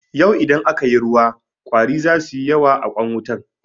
Yau idan aka yi ruwa ƙwari za suyi yawa a kwan wutan.